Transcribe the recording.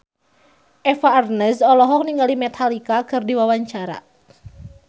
Eva Arnaz olohok ningali Metallica keur diwawancara